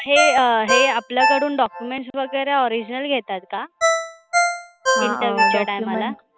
हे अं हे आपल्याकडून documents वगैरा original घेतात का? हा, interview च्या time ला?